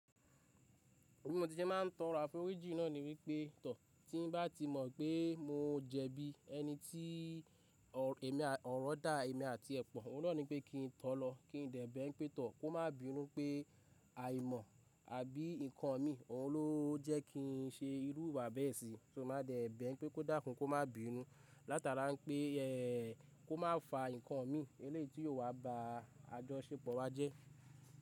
Bi mo tí sẹ máa tọ́ri aforíjin náà ni wípé tọ̀. Tí n bá ti mọ̀ pé mo jẹbi ẹni tí ọ̀rọ̀ dá èmi àti ẹ̀ pọ̀, n ó ní wípé kí n tọ̀ lọ, kí n dẹ̀ bẹ́ pé tọ̀ kó má bíi irú pé àìmọ̀, àbí ǹkan mi ló jẹ́ kí n ṣe irú ìwà bẹ́ẹ̀ síi. So, máa dẹ̀ bẹ́e pé kó dàkún, kó má binú, látara pé kó má fa ǹkan mi eléyìí tí yóò wá ba àjọṣepọ̀ wa jẹ́.